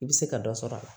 I bɛ se ka dɔ sɔrɔ a la